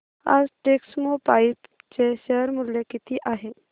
आज टेक्स्मोपाइप्स चे शेअर मूल्य किती आहे